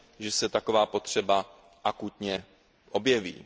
že se taková potřeba akutně objeví.